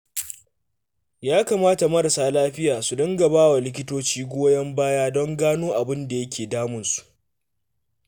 Ya kamata marasa lafiya su dinga ba wa likitoci goyon baya don gano abin da yake damunsu